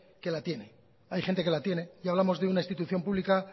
que la tiene y hablamos de una institución pública